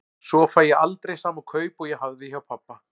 Svo fæ ég aldrei sama kaup og ég hafði hjá pabba.